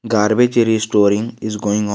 Garbage restoring is going on.